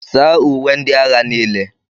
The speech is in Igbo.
saa uwe ndị agha niile